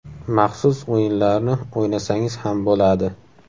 Maxsus o‘yinlarni o‘ynasangiz ham bo‘ladi.